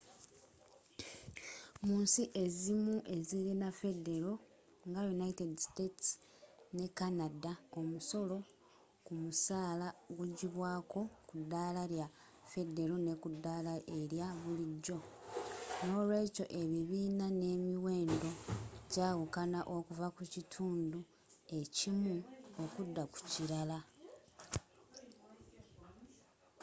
munsi ezimu ezirina federo nga united states ne canada omusolo kumusaala gugibwaako kudaala lya federo nekudaala erya bulijjo nolweekyo ebibiina n'emiwendo jawukana okuva kukitundu ekimu okudda kukilala